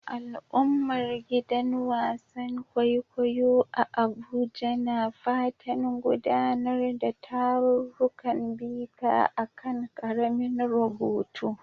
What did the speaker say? Al'ummar gidan wasan kwaikwayo a Abuja na fatan gudanar da tarurrukan bita a kan karamin rubutu